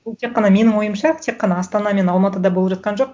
ол тек қана менің ойымша тек қана астана мен алматыда болып жатқан жоқ